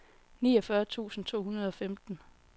niogfyrre tusind to hundrede og femten